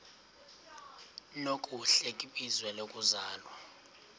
nokuhle kwizwe lokuzalwa